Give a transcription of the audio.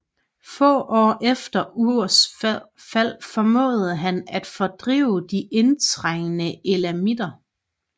Få år efter Urs fald formåede han at fordrive de indtrængte elamitter